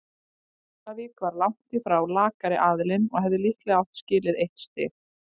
Keflavík var langt í frá lakari aðilinn og hefði líklega átt skilið eitt stig.